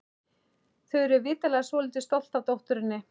Þau eru vitanlega svolítið stolt af dótturinni.